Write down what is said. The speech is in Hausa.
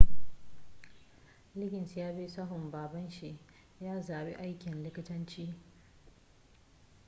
liggins yabi sahun baban shi ya zabi aikin likitanci